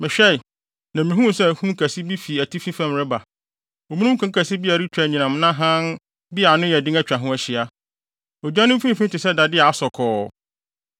Mehwɛe, na mihuu sɛ ahum kɛse bi fi atifi fam reba, omununkum kɛse bi a ɛretwa anyinam na hann bi a ano yɛ den atwa ho ahyia. Ogya no mfimfini te sɛ dade a asɔ kɔɔ.